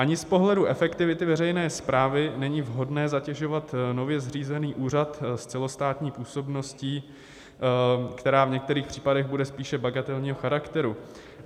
Ani z pohledu efektivity veřejné správy není vhodné zatěžovat nově zřízený úřad s celostátní působností, která v některých případech bude spíše bagatelního charakteru.